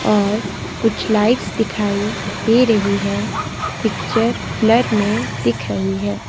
और कुछ लाइट्स दिखाई दे रही है पिक्चर ब्लर में दिख रही है।